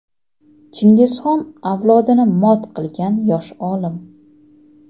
Chingizxon avlodini mot qilgan yosh olim.